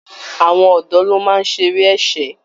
Àwọn ọ̀dọ́ ló máa ń ṣe eré ẹkẹ